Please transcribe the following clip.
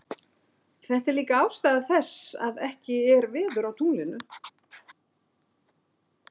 Þetta er líka ástæða þess að ekki er veður á tunglinu.